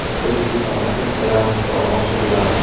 O‘zbekistonda pensiyalar miqdori oshiriladi.